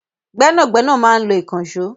Gbẹ́nàgbẹ́nà máa ń lo ìkànṣọ́